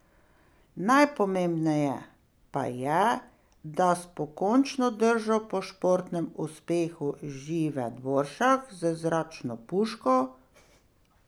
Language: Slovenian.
Najpomembneje pa je, da s pokončno držo po športnem uspehu Žive Dvoršak z zračno puško.